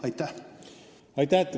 Aitäh!